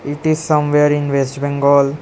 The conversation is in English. It is somewhere in west bengal.